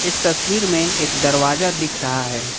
इस तस्वीर में एक दरवाजा दिख रहा है।